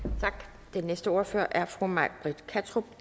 tak den næste ordfører er fru may britt kattrup